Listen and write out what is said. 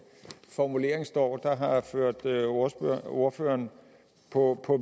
formulering står der har ført ordføreren på